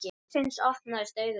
Loksins opnast augu þeirra.